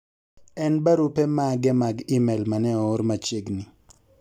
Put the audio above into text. en barupe mage mag email mane oor machiegni